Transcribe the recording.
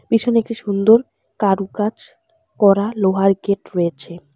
ভীষণ একটি সুন্দর কারুকাজ করা লোহার গেট রয়েছে।